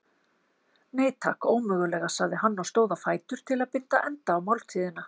Nei, takk, ómögulega sagði hann og stóð á fætur til að binda enda á máltíðina.